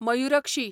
Mayurakshi